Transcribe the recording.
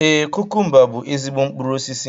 Ee, kukumba bú ezigbo mkpụrụ osisi